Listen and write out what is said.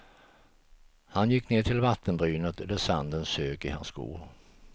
Han gick ner till vattenbrynet där sanden sög i hans skor.